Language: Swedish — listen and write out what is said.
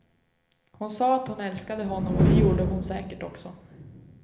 Hon sa att hon älskade honom och det gjorde hon säkert också.